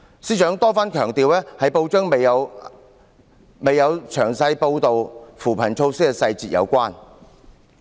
司長多番強調，這與報章未有詳細報道扶貧措施的細節有關。